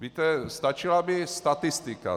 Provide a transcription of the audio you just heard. Víte, stačila by statistika.